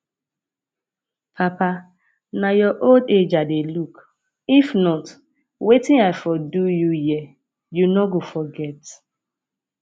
papa na your old age i dey look if not wetin i for do you here you no go forget